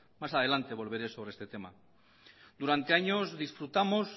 más adelante volveré sobre este tema durante años disfrutamos